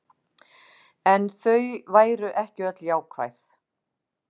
En þau væru ekki öll jákvæð